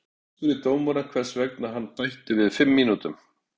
Ég spurði dómarann hvers vegna hann bætti við fimm mínútum.